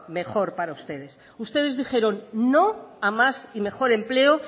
mejor para ustedes ustedes dijeron no a más y mejor empleo